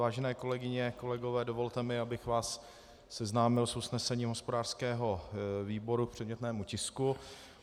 Vážené kolegyně, kolegové, dovolte mi, abych vás seznámil s usnesením hospodářského výboru k předmětnému tisku.